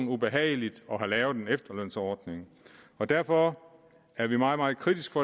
ubehageligt at have lavet en efterlønsordning derfor er vi meget meget kritiske